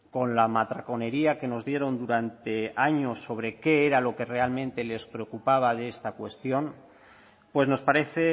con la matraconería que nos dieron durante años sobre qué era lo que realmente les preocupaba de esta cuestión pues nos parece